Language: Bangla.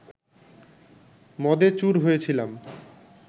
মদে চুর হয়েছিলাম